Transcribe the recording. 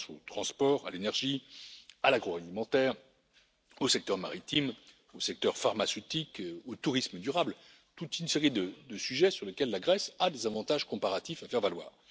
Je pense aux transports, à l'énergie, à l'agroalimentaire, au secteur maritime, au secteur pharmaceutique, au tourisme durable, à toute une série de sujets sur lesquels la Grèce a des avantages comparatifs à faire valoir.